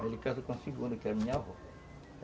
Aí ele casou com a segunda, que era minha avó.